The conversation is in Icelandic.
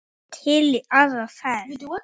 Til í aðra ferð.